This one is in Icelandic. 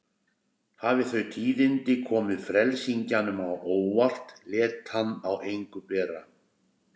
Hafi þau tíðindi komið frelsingjanum á óvart lét hann á engu bera.